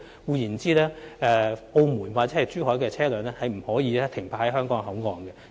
換言之，從澳門或珠海而來的車輛不可以停泊在香港口岸。